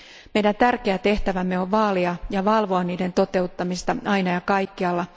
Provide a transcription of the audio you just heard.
Meidän tärkeä tehtävämme on vaalia ja valvoa niiden toteuttamista aina ja kaikkialla.